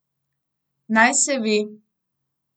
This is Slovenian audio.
Naj se ve.